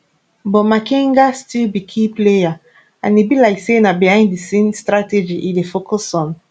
but makenga still be key player and e be like say na behind di scene strategy e dey focus on